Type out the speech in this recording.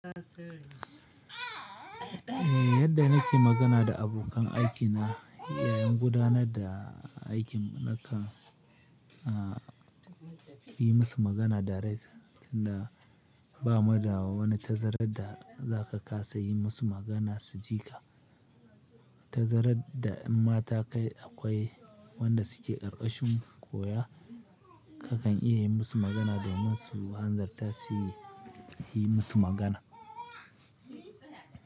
Yadda nake magana da abokan aikina yayin gudanar da aikin ha ka yi musu magana direct, tunda ba mu da wa wani tazarar da za ka kasa yi musu magana su ji ka. Tazarar da imma ta kai akwai wanda su ke ƙarƙashin koya, ka kan iya yi musu magana domin su hanzarta su yi musu magana.